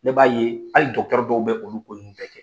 Ne b'a ye hali dɔw bɛ olu ko nunnu bɛɛ dɔ kɛ